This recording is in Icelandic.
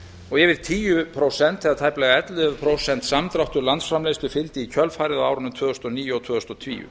og tæplega ellefu prósent samdráttur í landsframleiðslu fylgdi í kjölfarið á árunum tvö þúsund og níu og tvö þúsund og tíu